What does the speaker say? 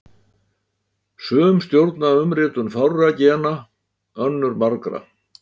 Sum stjórna umritun fárra gena, önnur margra.